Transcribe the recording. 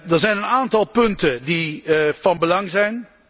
Er zijn een aantal punten die van belang zijn.